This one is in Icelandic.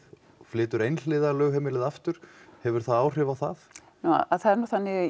flytur einhliða lögheimilið aftur hefur það áhrif á það það er nú þannig